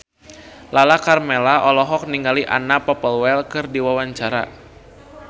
Lala Karmela olohok ningali Anna Popplewell keur diwawancara